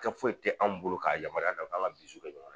Kɛ foyi tɛ an bolo k'a yamaruya da k'an ka kɛ ɲɔgɔn na